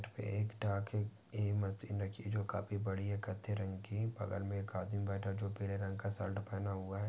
एक डाके ये मशीन रखी काफी बड़ी है कथे रंग की बगल मे एक आदमी बैठा जो पीले रंग का शर्ट पहना हुआ है।